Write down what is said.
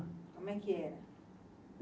Como é que era?